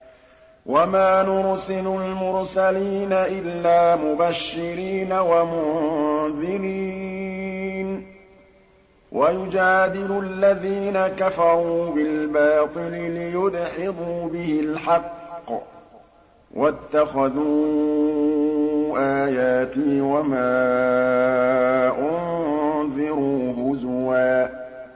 وَمَا نُرْسِلُ الْمُرْسَلِينَ إِلَّا مُبَشِّرِينَ وَمُنذِرِينَ ۚ وَيُجَادِلُ الَّذِينَ كَفَرُوا بِالْبَاطِلِ لِيُدْحِضُوا بِهِ الْحَقَّ ۖ وَاتَّخَذُوا آيَاتِي وَمَا أُنذِرُوا هُزُوًا